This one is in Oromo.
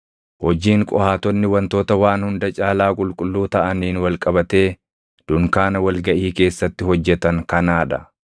“Hojiin Qohaatonni wantoota waan hunda caalaa qulqulluu taʼaniin wal qabatee dunkaana wal gaʼii keessatti hojjetan kanaa dha.